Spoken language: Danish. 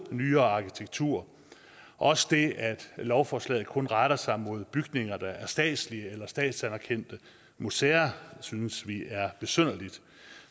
nyere arkitektur også det at lovforslaget kun retter sig mod bygninger der er statslige eller statsanerkendte museer synes vi er besynderligt